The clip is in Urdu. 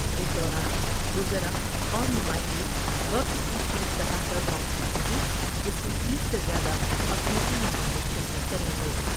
اس دوران وزراء اور نمائندے وفد کی چیف سطح پر بات چیت ہوگی جس میں تیس سے زیادہ افریقی ممالک شرکت کر یں گے ۔